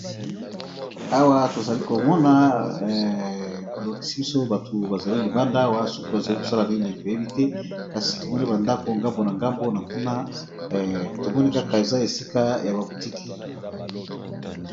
Awa tozali komona ba lakisi biso batu bazali libanda awa soki bazali kosala nini toyebi te, kasi tomoni ba ndako ngambo na ngambo na kuna tomoni kaka eza esika ya ba boutiqui.